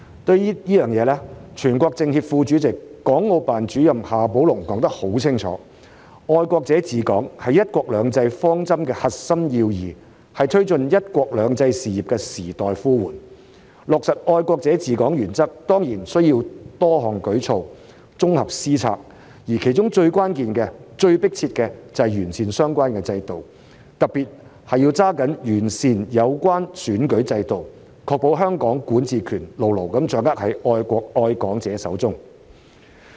對此，全國政協副主席、港澳辦主任夏寶龍說得很清楚："愛國者治港"是"一國兩制"方針的核心要義，是推進"一國兩制"事業的時代呼喚，落實"愛國者治港"原則當然需要多項舉措、綜合施策，而其中最關鍵、最急迫的是要完善相關制度，特別是要抓緊完善有關選舉制度，確保香港管治權牢牢掌握在愛國愛港者手中。